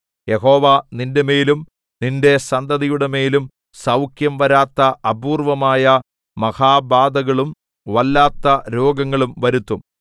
യഹോവ നിന്റെമേലും നിന്റെ സന്തതിയുടെമേലും സൗഖ്യം വരാത്ത അപൂർവ്വമായ മഹാബാധകളും വല്ലാത്ത രോഗങ്ങളും വരുത്തും